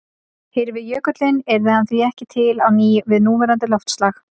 Hyrfi jökullinn yrði hann því ekki til á ný við núverandi loftslag.